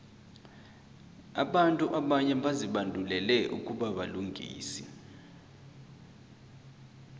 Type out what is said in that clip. abantu abanye bazibandulele ukubabalingisi